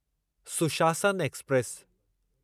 सुशासन एक्सप्रेस